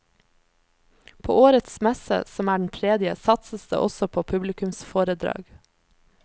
På årets messe, som er den tredje, satses det også på publikumsforedrag.